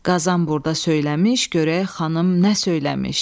Qazan burda söyləmiş, görək xanım nə söyləmiş.